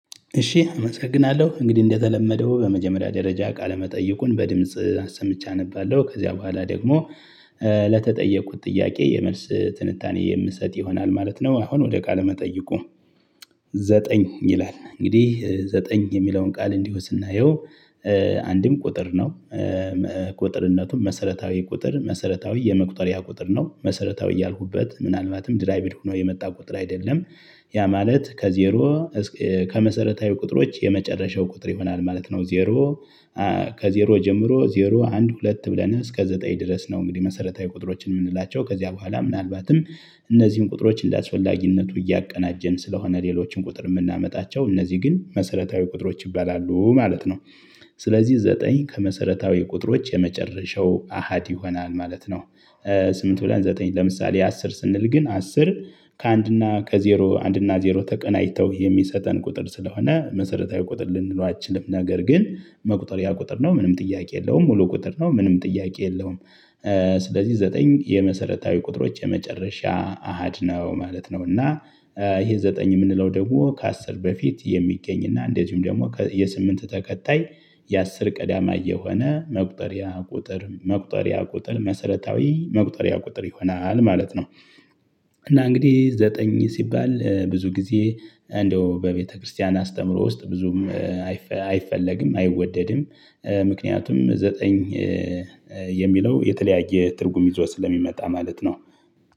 እሺ አመሰግናለሁ እንግዲህ እንደተለመደው በመጀመሪያ ደረጃ ቃለመጠይቁን በድምጽ አሰምቼ አነባለሁ ከዚያ በኋላ ደግሞ ለተጠየኩት ጥያቄ የመልስ ትንታኔ የምሰጥ ይሆናል ማለት ነው። አሁን ወደ ቃለ መጠይቁ። ዘጠኝ ይላል እንግዲህ ዘጠኝ የሚለውን ቃል እንዲሁ ስናየው። አንድም ቁጥር ነው። ቁጥርነቱን መሰረታዊ ቁጥር መሰረታዊ የመቁጠሪያ ቁጥር ነው መሰረታዊ ያልሁበት ምናልባትም ድራይቭድ ሆኖ የመጣ ቁጥር አይደለም። ያ ማለት ከዜሮ ከመሰረታዊ ቁጥሮች የመጨረሻው ቁጥር ይሆናል ማለት ነው። ዜሮ ከዜሮ ጀምሮ ዜሮ አንድ ሁለት ብለን እስከ ዘጠኝ ድረስ ነው። እንግዲህ መሰረታዊ ቁጥሮችን ምንላቸው ከዚያ በኋላ ምናልባትም እነዚህን ቁጥሮች እንዳስፈላጊነቱ እያቀናጀን ስለሆነ ሌሎችን ቁጥር ምናመጣቸው እነዚህ ግን መሰረታዊ ቁጥሮች ይባላሉ ማለት ነው። ስለዚህ ዘጠኝ ከመሰረታዊ ቁጥሮች የመጨረሻው አሃድ ይሆናል ማለት ነው። ስምንት ብለን ዘጠኝ ለምሳሌ አስር ስንል ግን አስር ከአንድ እና ከዜሮ አንድና ዜሮ ተቀናጅተው የሚሰጠን ቁጥር ስለሆነ መሰረታዊ ቁጥር ልንለው አትችልም ነገር ግን መቁጠሪያ ቁጥር ነው። ምንም ጥያቄ የለውም ሙሉ ቁጥር ነው ምንም ጥያቄ የለውም። ስለዚህ ዘጠኝ የመሰረታዊ ቁጥሮች የመጨረሻ አሃድ ነው ማለት ነው። እና ይሄ ዘጠኝ የምንለው ደግሞ ከአስር በፊት የሚገኝና እንደዚሁም ደግሞ የስምንት ተከታይ የአስር ቀዳማይ የሆነ መቁጠሪያ ቁጥር መሰረታዊ መቁጠሪያ ቁጥር ይሆናል ማለት ነው። እና እንግዲህ ዘጠኝ ሲባል ብዙ ጊዜ እንደው በቤተክርስቲያን አስተምህሮ ውስጥ ብዙም አይፈለግም አይወደድም ምክንያቱም ዘጠኝ የሚለው የተለያየ ትርጉም ይዞ ስለሚመጣ ማለት ነው።